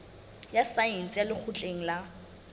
ya saense ya lekgotleng la